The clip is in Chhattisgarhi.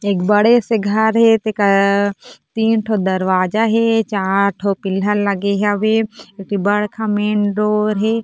एक बड़े से घर हे तेकर तीन ठोह दरवाजा हे चार ठो पिलर लगे हवे एक ठी बड़का सा मेन डोर हवे।